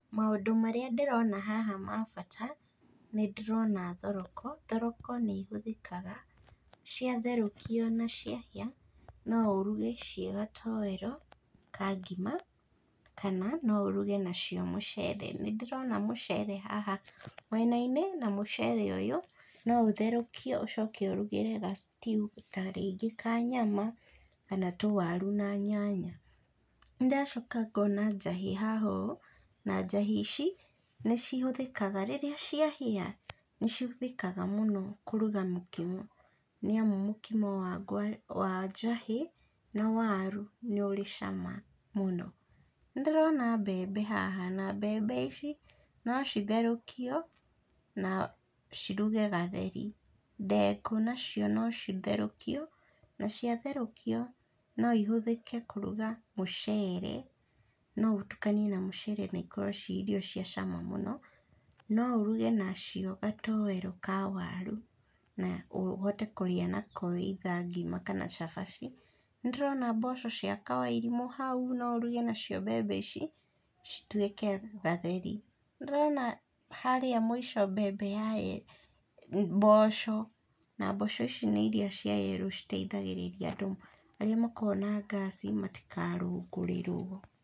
Maũndũ marĩa ndĩrona haha ma bata, nĩ ndĩrona thoroko. Thoroko nĩ ihũthĩkaga cia therũkio na ciahĩa, no ũruge ciĩ gatowero ka ngima, kana no ũruge nacio mũcere. Nĩ ndĩrona mũcere haha mwenainĩ, na mũcere ũyũ, no ũtherũkio ũcoke ũrugĩre ga stew ta rĩngĩ ka nyama, kana tũwaru na nyanya. Ndĩracoka ngona njahĩ haha ũũ, na njahĩ ici, nĩ cihũthĩkaga rĩrĩa ciahĩa, nĩ cihũthĩkaga mũno kũruga mũkimo. Nĩ amu mũkimo wa njahĩ na waru nĩ ũrĩ cama mũno. Nĩ ndĩrona mbembe haha, na mbembe ici no citherũkio, na ciruge gatheri, ndengũ nacio no citherũkio, na ciatherũkio no ihũthĩke kũruga mũcere, no ũtukanie na mũcere na ikorwo ciĩ irio cia cama mũno, no ũruge nacio gatowero ka waru, na ũhote kũrĩa nako either ngima kana cabaci. Nĩ ndĩrona mboco cia kawairimũ hau, no ũruge nacio mbembe ici, cituĩke gatheri. Nĩ ndĩrona harĩa mũico mbembe ya, yerũ, mboco na mboco ici nĩ irĩa cia yerũ citeithagĩrĩria andũ arĩa makoragwo na ngaci matikarũngũrĩrwo.